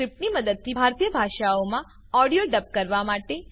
સ્ક્રીપ્ટની મદદથી ભારતીય ભાષાઓમાં ઑડિઓ ડબ કરવા માટે